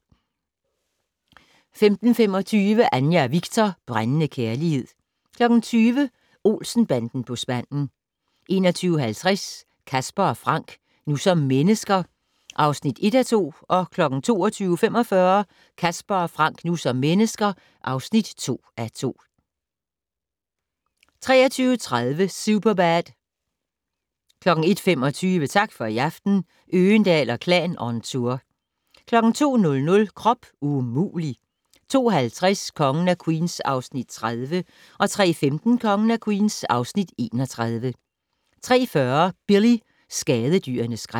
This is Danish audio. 15:25: Anja og Viktor - brændende kærlighed 20:00: Olsen-banden på spanden 21:50: Casper & Frank - nu som mennesker (1:2) 22:45: Casper & Frank - nu som mennesker (2:2) 23:30: Superbad 01:25: Tak for i aften - Øgendahl & Klan on tour 02:00: Krop umulig! 02:50: Kongen af Queens (Afs. 30) 03:15: Kongen af Queens (Afs. 31) 03:40: Billy - skadedyrenes skræk